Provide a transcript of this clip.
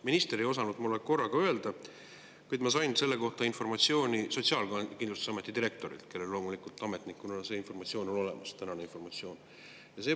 Minister ei osanud mulle korraga öelda, kuid ma sain selle kohta informatsiooni Sotsiaalkindlustusameti direktorilt, kellel loomulikult ametnikuna see informatsioon on olemas.